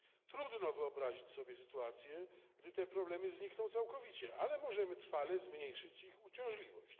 Trudno wyobrazić sobie sytuację, gdy te problemy znikną całkowicie, ale możemy trwale zmniejszyć ich uciążliwość.